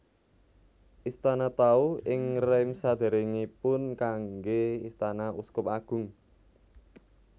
Istana Tau ing Reims sadèrèngipun kanggé istana uskup agung